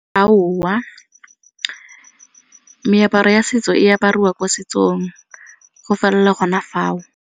Aowa meaparo ya setso e apariwa ko setsong go felela gona fao.